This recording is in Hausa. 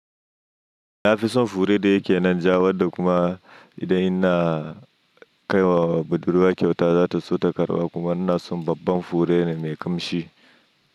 Na fi son fure da yake nan ja, wadda kuma idan ina kaiwa budurwa kyauta za ta so ta karba kuma ina son babban fure ne mai kamshi.